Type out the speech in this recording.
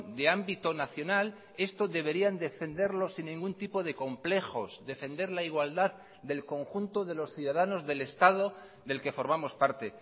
de ámbito nacional esto deberían defenderlo sin ningún tipo de complejos defender la igualdad del conjunto de los ciudadanos del estado del que formamos parte